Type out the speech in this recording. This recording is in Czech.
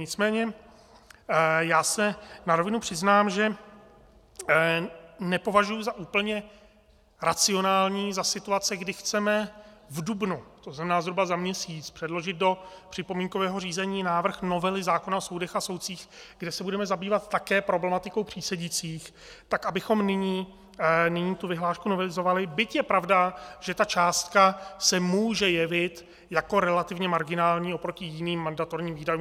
Nicméně já se na rovinu přiznám, že nepovažuji za úplně racionální za situace, kdy chceme v dubnu, to znamená zhruba za měsíc, předložit do připomínkového řízení návrh novely zákona o soudech a soudcích, kde se budeme zabývat také problematikou přísedících, tak abychom nyní tu vyhlášku novelizovali, byť je pravda, že ta částka se může jevit jako relativně marginální oproti jiným mandatorním výdajům.